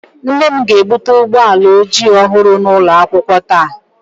Nne m ga-ebute ụgbọ ala ojii ọhụrụ n'ụlọ akwụkwọ taa